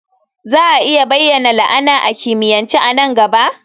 Za a iya bayyana la'ana a kimiyyance a nan gaba?